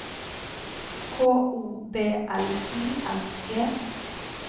K O B L I N G